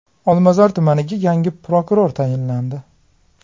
Olmazor tumaniga yangi prokuror tayinlandi.